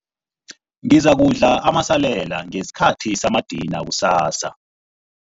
Ngizakudla amasalela ngesikhathi samadina kusasa.